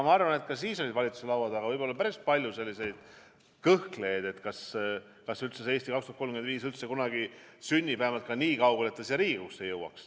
Ma arvan, et ka siis oli valitsuse laua taga võib-olla päris palju kõhklejaid, kas "Eesti 2035" üldse kunagi sünnib või siia Riigikogusse jõuab.